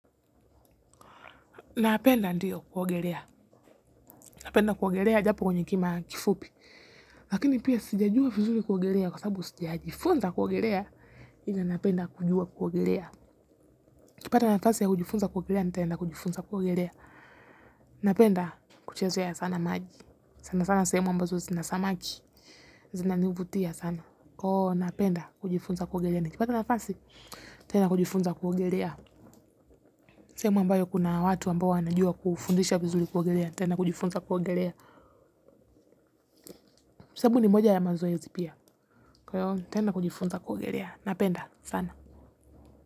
Napenda ndiyo kuogelea. Napenda kuogelea japo kwenye kima kifupi. Lakini pia sijajua vizuli kuogelea kwa sababu sijajifunza kuogelea. Ila napenda kujua kuogelea. Kipata nafasi ya kujifunza kuogelea ni tenda kujifunza kuogelea. Napenda kuchezeya sana maji. Sana sana sehemu ambazo sinasamaki. Sinanivutia sana. Oo napenda kujifunza kuogelea ni kipata nafasi. Tenda kujifunza kuogelea. Semu ambayo kuna watu ambao wanajua kufundisha vizuli kuogelea. Tena kujifunza kuogelea. Sabu ni moja ya mazoe zipia. Tena kujifunza kuogelea. Napenda sana.